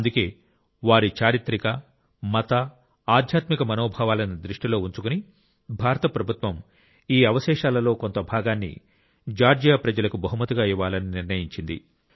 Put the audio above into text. అందుకే వారి చారిత్రక మత ఆధ్యాత్మిక మనోభావాలను దృష్టిలో ఉంచుకుని భారత ప్రభుత్వం ఈ అవశేషాలలో కొంత భాగాన్ని జార్జియా ప్రజలకు బహుమతిగా ఇవ్వాలని నిర్ణయించింది